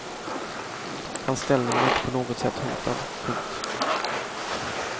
Hans ställning var inte på något sätt hotad. punkt